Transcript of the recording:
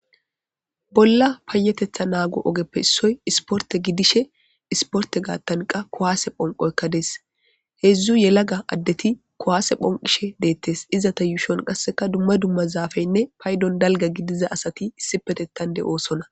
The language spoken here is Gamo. bolla paayetetha naago ogeppe issoy isporte gidishe isporte gaattanqa kowaase phonqoykka dees heedzdzu yelaga addeti kowaase phonqishe deettes iza ta yuushon qasseka dumma dumma zaafeynne paydon dalga gidiza asati issi petettande oosonna